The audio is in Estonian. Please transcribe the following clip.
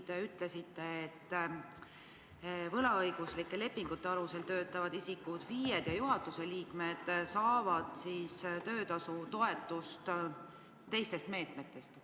Te ütlesite, et võlaõiguslike lepingute alusel töötavad isikud, FIE-d ja juhatuse liikmed saavad töötasutoetust teistest meetmetest.